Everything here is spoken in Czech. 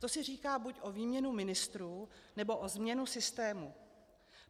To si říká buď o výměnu ministrů, nebo o změnu systému.